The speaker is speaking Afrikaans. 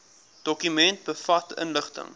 dokument bevat inligting